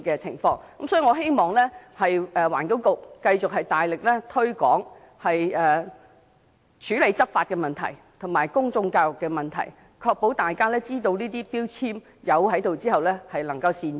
所以，我希望環境局繼續大力執法，並且加強公眾教育，確保消費者能善用能源標籤，作出明智的購物選擇。